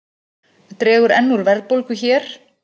Dregur enn úr verðbólgu hér